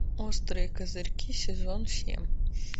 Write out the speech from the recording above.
острые козырьки сезон семь